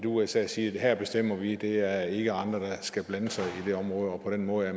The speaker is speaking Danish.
usa siger her bestemmer vi der er ikke andre der skal blande sig i det område og på den måde er